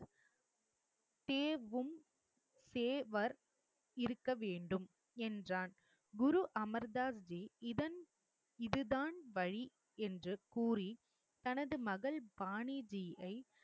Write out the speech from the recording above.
தேர்வும் சேவர் இருக்க வேண்டும் என்றான். குரு அமர் தாஸ்ஜி இதன் இது தான் வழி என்று கூறி தனது மகள் பாணிதியை